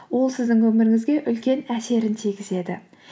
ол сіздің өміріңізге үлкен әсерін тигізеді